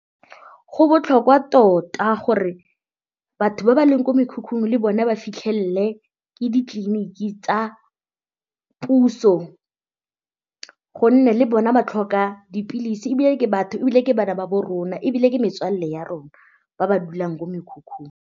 Go botlhokwa tota gore batho ba ba leng ko mekhukhung le bone ba fitlhelele ke ditleliniki tsa puso gonne le bona ba tlhoka dipilisi ebile ke batho ebile ke bana ba bo rona ebile ke metswalle ya rona ba ba dulang ko mekhukhung.